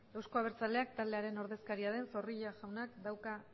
euzko abertzaleak taldearen ordezkaria den zorrilla jaunak dauka